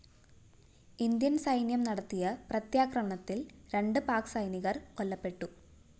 Indian സൈന്യം നടത്തിയ പ്രത്യാക്രമണത്തിൽ രണ്ട് പാക്ക്‌ സൈനികർ കൊല്ലപ്പെട്ടു